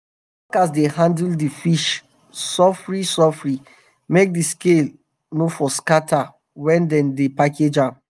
our workers dey handle d fish sofri sofri make di scale no for scatter wen dem dey um package um am.